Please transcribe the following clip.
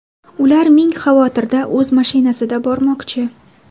Ular ming xavotirda o‘z mashinasida bormoqchi.